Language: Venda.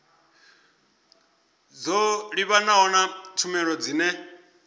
dzo livhanaho na tshumelo dzine